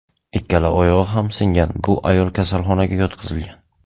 Ikkala oyog‘i ham singan bu ayol kasalxonaga yotqizilgan.